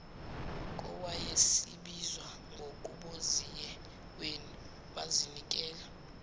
kowayesebizwa ngonguboziyeweni bazinikela